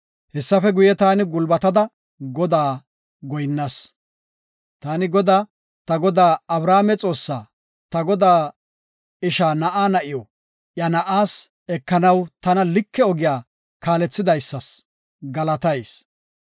Hessafe guye, taani gulbatada, Godaas goyinnas. Taani Godaa, ta godaa Abrahaame Xoossa, ta godaa isha na7a na7iw iya na7aas ekanaw tana like ogiya kaalethidaysas galatayis.